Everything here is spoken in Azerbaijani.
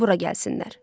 De bura gəlsinlər.